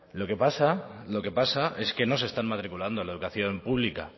lo que pasa lo que pasa es que no se están matriculando en la educación pública